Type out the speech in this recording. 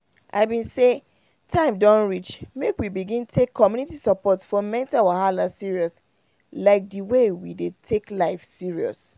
i been say say time don reach make we begin take community support for mental wahala serious like the way we dey take life serious